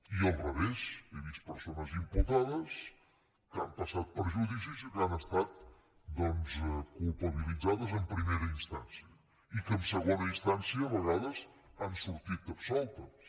i al revés he vist persones imputades que han passat per judicis i que han estat doncs culpabilitzades en primera instància i que en segona instància a vegades han sortit absoltes